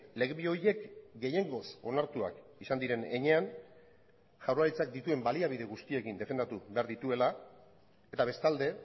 lege bi horiek gehiengoz onartuak izan diren heinean jaurlaritzak dituen baliabide guztiekin defendatu behar dituela eta bestalde